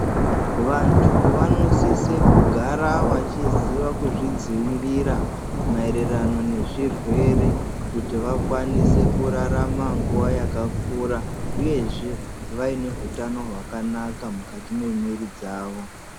Vantu vanosise kugara vachizvidzivirira maererano nezvirwere, kuti vakwanise kurarama nguwa yakakura. Uyezve vaine hutano hwakanaka mukati memwiri dzavo.